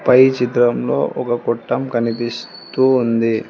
పై చిత్రంలో ఒక కొట్టం కనిపిస్తూ ఉంది.